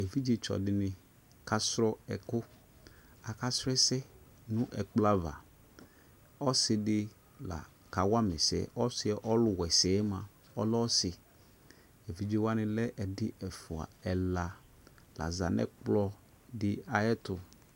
Evidze tsɔ dini kasu ɛku akasu ɛsɛ nu ɛkplɔ ava ɔsi di la kawa ma ɛsɛ ɔsi ɔlu wa ɛsɛ mua ɔlɛ ɔsi Evidze wani lɛ ɛdi ɛfua ɛla ɛna laza nu ɛkplɔ di ayɛtu